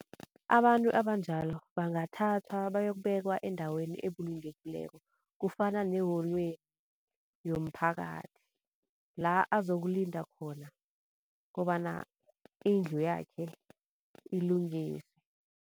Abantu abanjalo bangathathwa bayokubekwa endaweni ebulungekileko kufana neholweni yomphakathi la azokulinda khona kobana indlu yakhe ilungiswe.